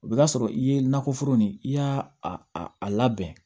O bɛ k'a sɔrɔ i ye nakɔ foro nin i y'a a labɛn